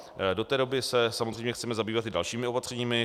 Do té doby se samozřejmě chceme zabývat i dalšími opatřeními.